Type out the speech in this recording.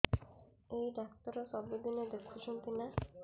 ଏଇ ଡ଼ାକ୍ତର ସବୁଦିନେ ଦେଖୁଛନ୍ତି ନା